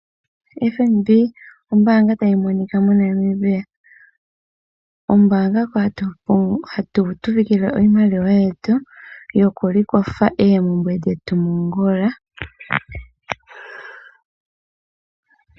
FNB ombaanga ta yi monika moNamibia. Ombaanga ho ha tu pungula iimaliwa yetu yo ku ikwatha oompumbwe dhetu ngula.